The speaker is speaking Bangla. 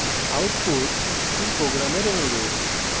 output c program অনুরূপ